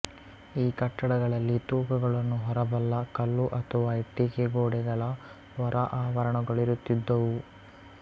ಈ ಕಟ್ಟಡಗಳಲ್ಲಿ ತೂಕಗಳನ್ನು ಹೊರಬಲ್ಲ ಕಲ್ಲು ಅಥವಾ ಇಟ್ಟಿಗೆಗೋಡೆಗಳ ಹೊರ ಆವರಣಗಳಿರುತ್ತಿದ್ದುವು